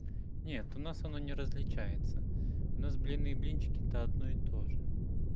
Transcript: нет у нас оно не различается у нас блины и блинчики это одно и тоже